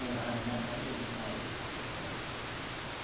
Em ma ma abril não, maio eu fui hospitalizada.